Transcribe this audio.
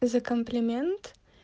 за комплимент